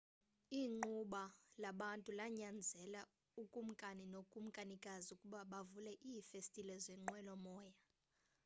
igquba labantu lanyanzela ukumkani nokumkanikazi ukuba bavule iifestile zenqwelomoya